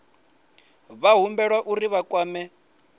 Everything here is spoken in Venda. vha humbelwa uri vha kwame